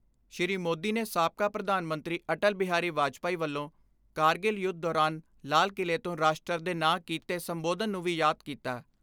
ਸ਼੍ਰੀ ਮੋਦੀ ਨੇ ਸਾਬਕਾ ਪ੍ਰਧਾਨ ਮੰਤਰੀ ਅਟਲ ਬਿਹਾਰੀ ਵਾਜਪੇਈ ਵਲੋਂ ਕਾਰਗਿਲ ਯੁੱਧ ਦੌਰਾਨ ਲਾਲ ਕਿਲੇ ਤੋਂ ਰਾਸ਼ਟਰ ਦੇ ਨਾਂ ਕੀਤੇ ਸੰਬੋਧਨ ਨੂੰ ਵੀ ਯਾਦ ਕੀਤਾ।